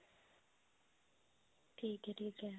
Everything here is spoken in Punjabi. ਠੀਕ ਹੈ ਠੀਕ ਹੈ